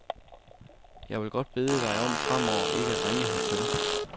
Jeg vil godt bede dig om fremover ikke at ringe hertil.